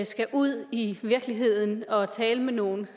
skal ud i virkeligheden og tale med nogle